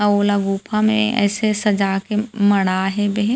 अउ ओला गुफा मे अइसे सजा के मड़ा हेबे हे।